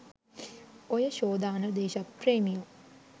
ඔය ෂෝ දාන දේශප්‍රේමියො